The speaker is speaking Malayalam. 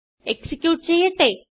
എക്സിക്യൂട്ട് ചെയ്യട്ടെ